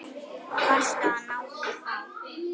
Varstu að ná í þá?